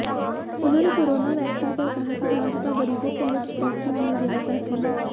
उन्होंने corona vaccine पर कहा कि भाजपा गरीबों को मुफ्त वैक्सीन नहीं देना चाहती है